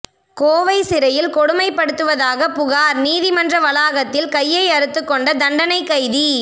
கோவை சிறையில் கொடுமைப்படுத்துவதாக புகார் நீதிமன்ற வளாகத்தில் கையை அறுத்துக்கொண்ட தண்டனை கைதி